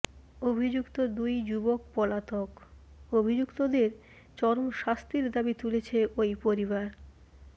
অভিযুক্ত দুই যুবক পলাতক অভিযুক্তদের চরম শাস্তির দাবি তুলেছে ওই পরিবার